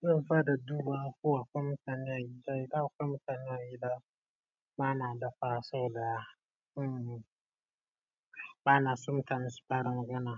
Zan fara dubawa ko akwai mutane a gida idan akwai mutane a gida bana dafawa saboda banaso mutane su fara magana.